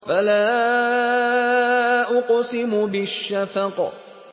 فَلَا أُقْسِمُ بِالشَّفَقِ